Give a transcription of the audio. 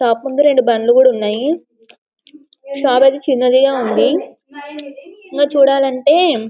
shop ముందు రెండు బండ్లు కూడా ఉన్నాయి షాప్ అయితే చిన్నదిగా ఉంది ఇంకా చూడాలంటే --